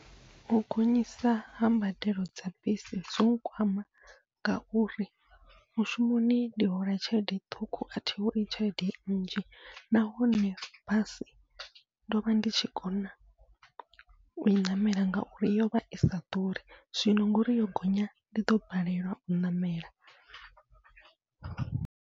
U gonyisa ha mbadelo dza bisi zwo nkwama, ngauri mushumoni ndi hola tshelede ṱhukhu athi holi tshelede nnzhi, nahone basi ndovha ndi tshi kona ui ṋamela ngauri yovha isa ḓuri, zwino ngori yo gonya ndi ḓo balelwa u ṋamela.